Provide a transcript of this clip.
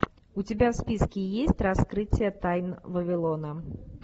у тебя в списке есть раскрытие тайн вавилона